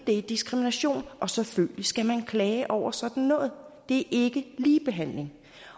det er diskrimination selvfølgelig skal man klage over sådan noget det er ikke ligebehandling